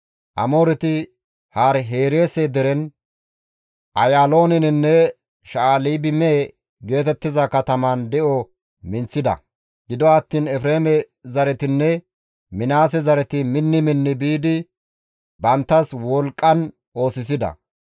Amooreti Hari-Hereese deren, Ayaalooninne Sha7albime geetettiza katamatan de7o minththida; gido attiin Efreeme zaretinne Minaase zareti minni minni biidi banttas wolqqan oosisida.